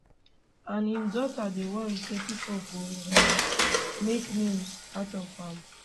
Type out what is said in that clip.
and im daughter dey worry say pipo go um make memes out of am